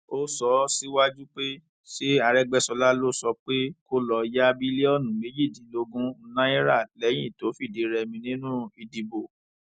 ó sọ síwájú pé ṣé àrègbéṣọlá ló sọ pé kó lọọ ya bílíọnù méjìdínlógún náírà lẹyìn tó fìdírẹmi nínú ìdìbò